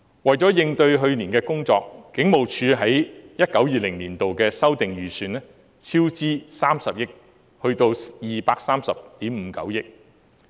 為了應對去年的工作，警務處在 2019-2020 年度的修訂預算超支30億元至230億 5,900 萬元。